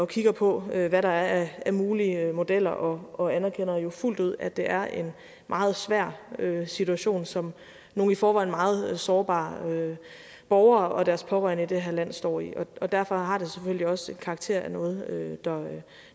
kigger på hvad der er af mulige modeller og og anerkender jo fuldt ud at det er en meget svær situation som nogle i forvejen meget sårbare borgere og deres pårørende i det her land står i og derfor har det selvfølgelig også karakter af noget